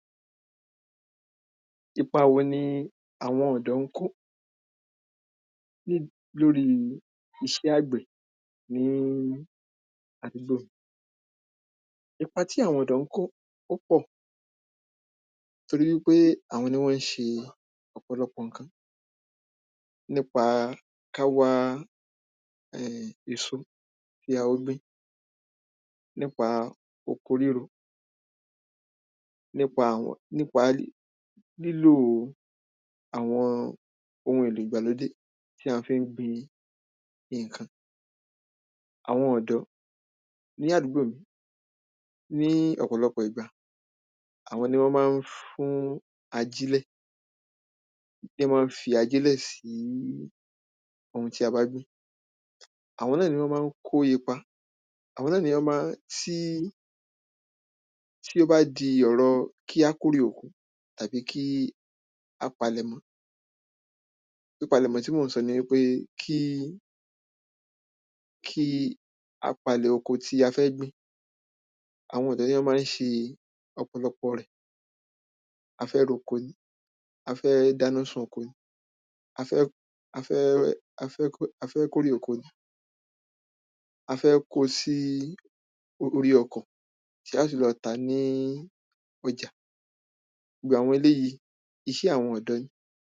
Ipa wo ni àwọn ọ̀dọ́ ń kó lórí iṣẹ́ àgbẹ̀ ní àdúgbò mi? Ipa tí àwọn ọ̀dọ́ ń kó pọ̀. Torí wípé àwọn ni wọ́n ń ṣe ọ̀pọ̀lọpọ̀ ǹkan. Nípa ká wá èso tí a ó gbìn. Nípa oko ríro. Nípa aw nípa lílò àwọn ohun èlò ìgbàlódé tí a fi ń gbin nǹkan. Àwọn ọ̀dọ́ ní àdúgbò mi, ní ọ̀pọ̀lọpọ̀ ìgbàni àwọn ni wọ́n má ń fún ajílẹ̀. Ná má ń fi ajílẹ̀ sí ohun tí a bá gbìn. Àwọn náà ni wọ́n má ń kó ipa. Àwo̩n náà ni wó̩n má ń tí tí ó bá di ọ̀rọ kí á kórè oko àbí kí á palẹ̀ mọ́. Pípalẹ̀mó̩ tí mò ń so̩ ni wípé kí kí á palè̩ oko tí a fé̩ gbìn Àwọn ọ̀dọ́ ní án má ń ṣe ọ̀pọ̀lọpọ̀ rẹ̀. A fẹ́ roko ni. A fẹ́ dáná sun oko. A fẹ́ a fẹ́ a fẹ́ kó a fẹ́ kórè oko. A fẹ́ kó o sí orí ọkò tí á fi lọ tà á ní ọjà Gbogbo àwo̩n eléyíì, iṣẹ́ àwọn ọ̀dọ́ ni.